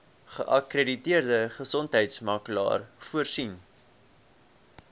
geakkrediteerde gesondheidsorgmakelaar voorsien